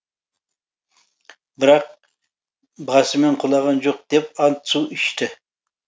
бірақ басымен құлаған жоқ деп ант су ішті